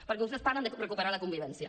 perquè vostès parlen de recuperar la convivència